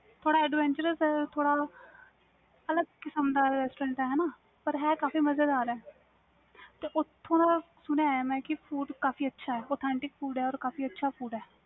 ਥੋੜ੍ਹਾ adventurous ਆ ਥੋੜ੍ਹਾ ਅਲਗ ਕਿਸਮ ਦਾ restaurant ਆ ਪਰ ਹੈ ਕਾਫੀ ਮਜ਼ੇਦਾਰ ਆ ਓਥੋਂ ਮੈਂ ਸੁਣਿਆ ਮੈਂ food ਵੀ ਕਾਫੀ ਅੱਛਾ ਆ authentic food ਕਾਫੀ ਅੱਛਾ ਆ